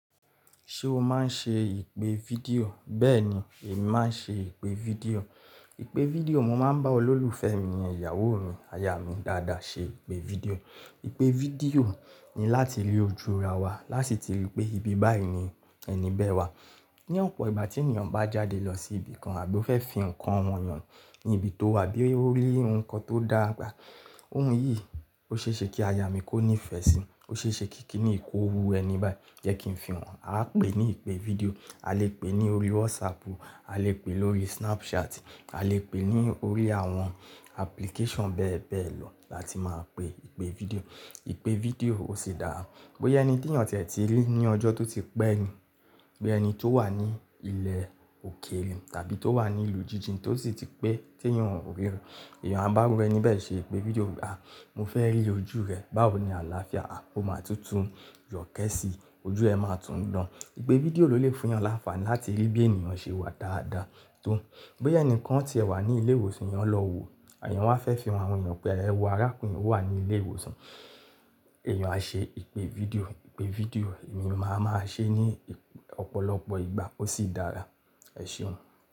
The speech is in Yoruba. Ṣé o máa ń ṣe ìpè fídíò? Bẹ́ẹ̀ni, èmi máa ń ṣe ìpè fídíò. Ìpè fídíò, mo máa ń bá olólùfẹ́ mi, ìyàwó mi, aya mi dáadáa ṣe ìpè fídíò. Ìpè fídíò ni láti rí ojú ra wa, lási ti rí pé ibi báyìí ni ẹni bẹ wá. Ni ọ̀pọ̀ ìgbà tí ènìyàn bá jáde lọ sí ibi kan àbí ó fẹ́ fi ǹkan hàn èèyàn ní ibi tó wà a bí ó rí ǹkan tó dáa pé. Ohun yìí ó ṣeéṣe kí aya mi kó ní ìfẹ́ ṣe, ó ṣeéṣe kí kíníyì kó wù ẹni báyì. Jẹ́ kí n fi hàn. Aá pè ní ìpè fídíò, a lè pè ní orí WhatsApp, a lè pè lórí Snapchat, a lè pè ní orí àwọn application bẹ́ẹ̀ bẹ́ẹ̀ lọ láti máa pè ìpè fídíò. Ìpè fídíò ó ṣi dáa. Bóyá ẹni tí èèyàn tiẹ̀ ti rí ní ọjọ́ tó ti pẹ́ ni, bí ẹni tó wà ní ilẹ̀ òkèèrè tàbí tó wà ní ìlú jíjìn tó sì ti pé tí èèyàn ò ríra. Èèyàn a bá irù ẹ́ní bẹ́ẹ̀ ṣe ìpè fídíò. "À, mo fẹ́ rí ojú rẹ. Báwo ni àlàáfíà? A ò máa tútù yọ̀kẹ́ síi, ojú ẹ máa tún dán." Ìpè fídíò ló lè fún èèyàn lánfààni láti rí bí ènìyàn ṣe wà dáadáa tó. Bóyá ẹnìkan ti ẹ̀ wà ní ilé ìwòsàn, èèyàn lọ wò èèyàn wá fẹ́ fi hàn àwọn ènìyàn pé ẹ wo arákùnrin yì ó wà ní ilé ìwòsàn, èèyàn á ṣe ìpè fídíò. Ìpè fídíò èmi máa máa ṣe ní ọ̀pọ̀lọpọ̀ ìgbà ó sì dára. Ẹ ṣeun.